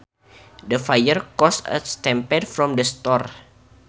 The fire caused a stampede from the store